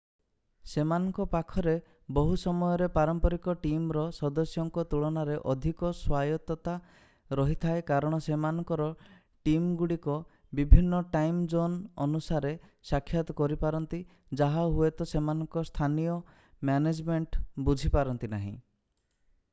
ସେମାନଙ୍କ ପାଖରେ ବହୁ ସମୟରେ ପାରମ୍ପରିକ ଟିମ୍‌ର ସଦସ୍ୟଙ୍କ ତୁଳନାରେ ଅଧିକ ସ୍ଵାୟତ୍ତତା ରହିଥାଏ କାରଣ ସେମାନଙ୍କର ଟିମ୍‌ଗୁଡ଼ିକ ବିଭିନ୍ନ ଟାଇମ୍‌-ଜୋନ୍‌ ଅନୁସାରେ ସାକ୍ଷାତ କରିପାରନ୍ତି ଯାହା ହୁଏତ ସେମାନଙ୍କ ସ୍ଥାନୀୟ ମ୍ୟାନେଜମେଣ୍ଟ ବୁଝିପାରନ୍ତି ନାହିଁ।